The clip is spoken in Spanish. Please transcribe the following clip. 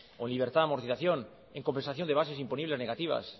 o en libertad de amortización en compensación de bases imponibles negativas